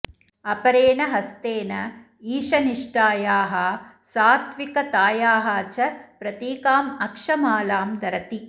अपरेण हस्तेन ईशनिष्ठायाः सात्त्विकतायाः च प्रतीकाम् अक्षमालां धरति